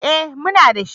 Eh muna dashi.